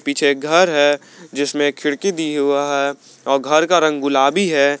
पीछे घर है जिसमें खिड़की दी हुआ है और घर का रंग गुलाबी है।